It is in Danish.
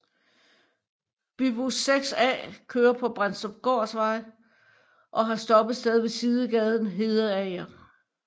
Bybus 6A kører på Brendstrupgårdsvej og har stoppested ved sidegaden Hedeager